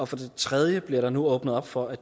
for det tredje bliver der nu åbnet op for at